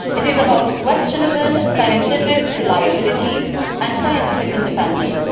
it is about questionable scientific reliability and scientific independence.